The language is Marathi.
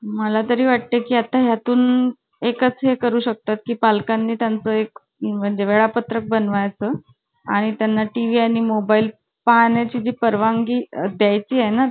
मला तरी वाटतं की आता यातून एका चेक करू शकता पालकांनी त्यांचा एक म्हणजे वेळापत्रक बन वायचे आणि त्यांना tv आणि mobile पाहण्याची परवानगी द्यायची आहे ना